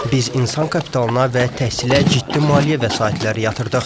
Biz insan kapitalına və təhsilə ciddi maliyyə vəsaitləri yatırdıq.